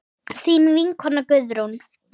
Þín vinkona Guðrún.